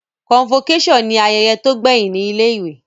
Convocation ni ayẹyẹ to gbẹhin ni ilé ìwé